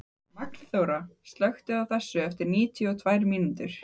Magnþóra, slökktu á þessu eftir níutíu og tvær mínútur.